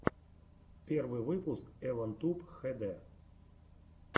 первый выпуск эван туб хэ дэ